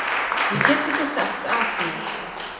Ég get ekki sagt af mér.